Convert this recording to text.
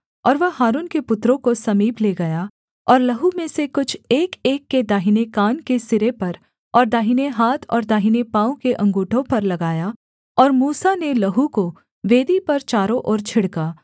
और वह हारून के पुत्रों को समीप ले गया और लहू में से कुछ एकएक के दाहिने कान के सिरे पर और दाहिने हाथ और दाहिने पाँव के अँगूठों पर लगाया और मूसा ने लहू को वेदी पर चारों ओर छिड़का